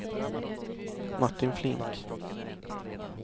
Martin Flink